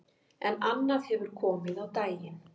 En annað hefði komið á daginn